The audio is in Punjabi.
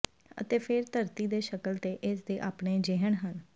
ਅਤੇ ਫਿਰ ਧਰਤੀ ਦੇ ਸ਼ਕਲ ਤੇ ਇਸ ਦੇ ਆਪਣੇ ਿਜਹਨ ਹਨ